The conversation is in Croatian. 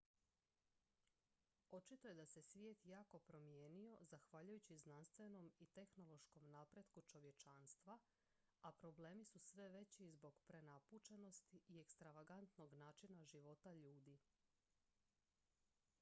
očito je da se svijet jako promijenio zahvaljujući znanstvenom i tehnološkom napretku čovječanstva a problemi su sve veći zbog prenapučenosti i ekstravagantnog načina života ljudi